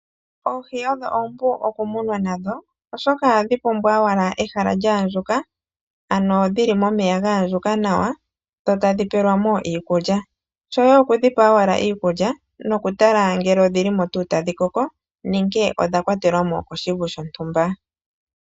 Oohi odho oompu okumunwa nadho oshoka oha dhi pumbwa owala ehala lyaandjuka, ano dhili momeya gaandjuka nawa dho tadhi pelwa mo iikulya. Shoye oku dhi pa owala iikulya nokutala ngele odhi li mo tuu tadhi koko nenge odha kwatelwa mo koshivu shontumba